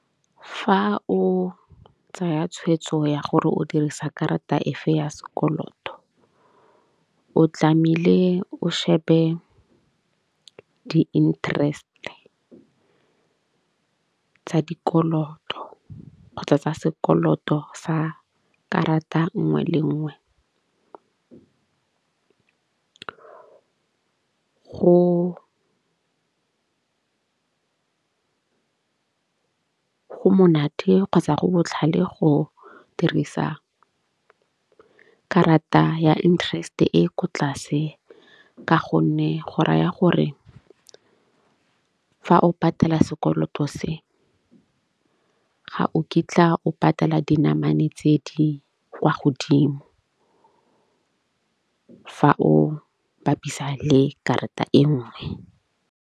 Fa o tsaya tshweetso ya gore o dirisa karata efe ya sekoloto, o tlamehile o shebe di-interest-e tsa dikoloto kgotsa tsa sekoloto sa karata nngwe le nngwe. Go monate kgotsa go botlhale go dirisa karata ya interest-e e ko tlase. Ka gonne go raya gore fa o patala sekoloto se ga o kitla o patala dinamane tse di kwa godimo fa o bapisa le karata e nngwe.